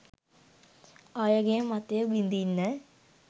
අයගේ මතය බිඳින්න